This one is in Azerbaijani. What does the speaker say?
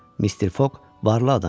Mister Foq varlı adam idi.